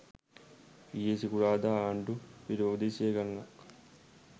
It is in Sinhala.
ඊයේ සිකුරාදා ආණ්ඩු විරෝධී සිය ගණනක්